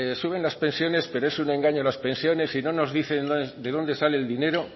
suben las pensiones pero es un engaño las pensiones y no nos dicen de dónde sale el dinero